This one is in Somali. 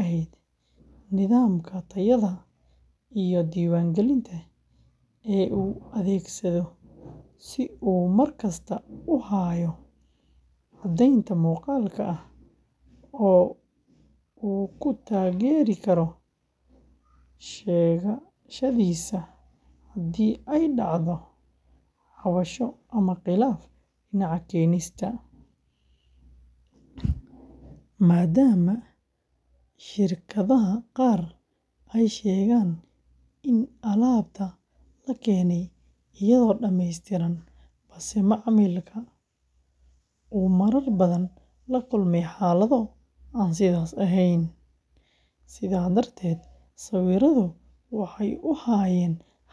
ahayd nidaamka tayada iyo diiwaangelinta ee uu adeegsado si uu markasta u hayo caddayn muuqaal ah oo uu ku taageeri karo sheegashadiisa haddii ay dhacdo cabasho ama khilaaf dhinaca keenista ah, maadaama shirkadaha qaar ay sheegaan in alaabta la keenay iyadoo dhammaystiran, balse macmiilka uu marar badan la kulmay xaalado aan sidaas ahayn, sidaa darteed sawirradu waxay u ahaayeen.